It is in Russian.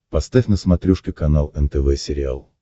поставь на смотрешке канал нтв сериал